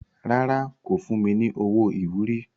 Rárá, kò fún mi ní owó ìwúrí.